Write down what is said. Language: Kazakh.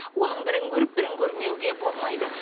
оның бірін көріп бірін көрмеуге болмайды